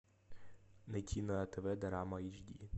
найти на тв дорама эйч ди